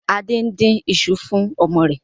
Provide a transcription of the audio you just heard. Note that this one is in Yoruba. Adé ń dín ìṣù fún ọmọ rẹ̀